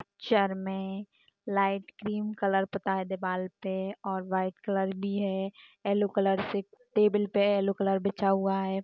Sir मे light cream colour पुता है दीवाल पे और वाइट कलर भी है एलो कलर के टेबल पे एलो कलर बिछा हुआ है। >